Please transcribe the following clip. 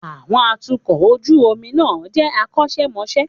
Àwọn atukọ̀ ojú omi náà jẹ́ akọ́ṣẹ́mọṣẹ́.